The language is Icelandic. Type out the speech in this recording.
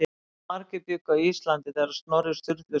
Hversu margir bjuggu á Íslandi þegar Snorri Sturluson var uppi?